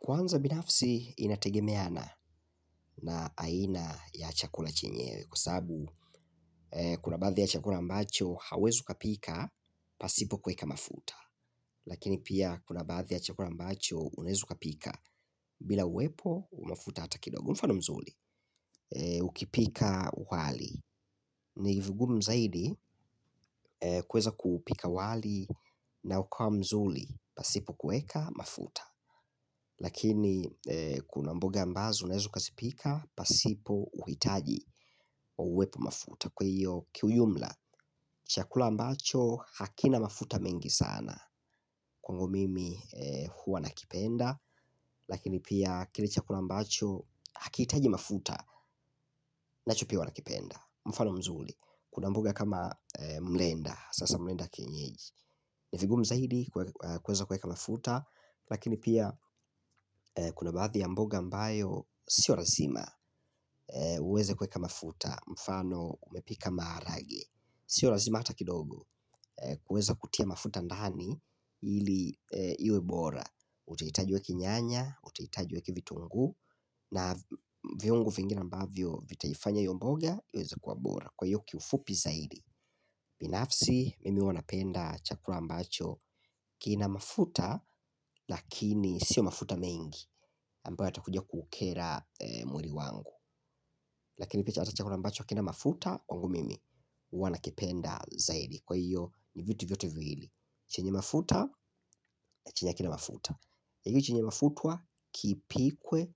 Kwanza binafsi inategemeana na aina ya chakula chinyewe kusabu kuna baadhi ya chakula ambacho hawezi ukapika pasipo kweka mafuta. Lakini pia kuna baadhi ya chakula ambacho unezu ukapika bila uwepo wa mafuta hata kidogu mfano mzuli. Ukipika wali ni vigum zaidi kueza kuupika wali na ukawa mzuli pasipo kuweka mafuta. Lakini kuna mboga ambazo naezu ukasipika pasipo uhitaji wa uwepo mafuta. Kwa hiyo kiuyumla chakula ambacho hakina mafuta mengi sana Kwango mimi huwa nakipenda. Lakini pia kili chakula ambacho hakiitaji mafuta nachupi pia uwa nakipenda. Mfano mzuli kuna mboga kama mlenda. Sasa mlenda kienyeji. Nifigum zaidi kweza kweka mafuta. Lakini pia kuna baadhi ya mboga ambayo sio razima uweze kueka mafuta mfano umepika maarage. Sio razima ata kidogo kueza kutia mafuta ndani ili iwe bora. Uteitaji ueki nyanya, utitajueki vitungu na viongu vingine ambavyo vitaifanya io mboga iweze kuabora kwao kiufupi zaidi. Binafsi mimi ua napenda chakura ambacho kina mafuta lakini sio mafuta mengi ambao yatakuja kuukera mwiri wangu. Lakini pia chakura ambacho kina mafuta kwangu mimi ua nakipenda zaidi. Kwa hiyo ni vitu vyote viwili. Chenye mafuta ya chinyi akina mafuta ya hiyo chinyi mafutua kipikwe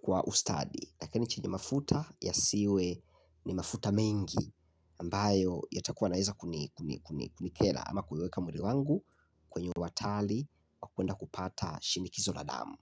kwa ustadi. Lakini chinyi mafuta ya siwe ni mafuta mengi ambayo yatakuwa naeza kunikela ama kuiweka mwli wangu kwenye uatali wa kwenda kupata shinikizo la damu.